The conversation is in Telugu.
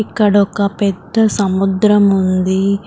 ఇక్కడ ఒక పెద్ద సముద్రం ఉంది.